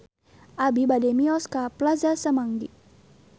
Abi bade mios ka Plaza Semanggi